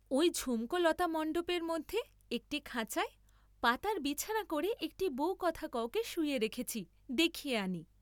ঐ ঝুমকো লতামণ্ডপের মধ্যে একটি খাঁচায় পাতার বিছানা করে একটি বউকথাকওকে শুইয়ে রেখেছি দেখিয়ে আনি।